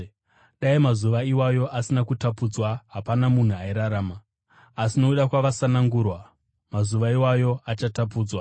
Dai mazuva iwayo asina kutapudzwa, hapana munhu airarama, asi nokuda kwavasanangurwa, mazuva iwayo achatapudzwa.